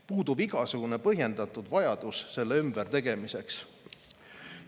Puudub igasugune põhjendatud vajadus selle ümbertegemiseks.